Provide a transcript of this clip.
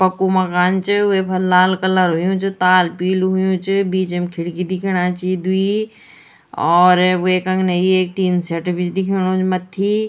पक्कू मकान च वेफर लाल कलर हुयुं च ताल पीलू हुयुं च बीचम खिड़की दिखेणा छी द्वि और वेक अग्ने एक टिन शेट भी दिख्योणु च मथ्थी।